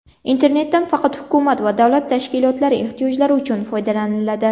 Internetdan faqat hukumat va davlat tashkilotlari ehtiyojlari uchun foydalaniladi.